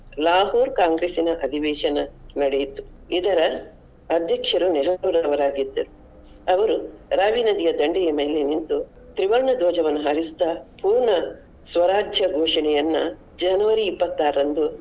Lahore Congress ಇನ ಅಧಿವೇಶನ ನಡೆಯಿತು ಇದರ ಅಧ್ಯಕ್ಷರು ನೆಹರುರವರಾಗಿದ್ದರು ಅವರು ನದಿಯ ದಂಡೆಯ ಮೇಲೆ ನಿಂತು ತ್ರಿವರ್ಣ ಧ್ವಜವನ್ನು ಹಾರಿಸುತ್ತಾ ಪೂರ್ಣ ಸ್ವರಾಜ್ಯ ಘೋಷಣೆಯನ್ನ January ಇಪಾತ್ತಾರರಂದು.